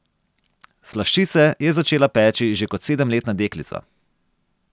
Slaščice je začela peči že kot sedemletna deklica.